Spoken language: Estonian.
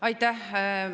Aitäh!